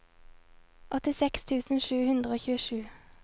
åttiseks tusen sju hundre og tjuesju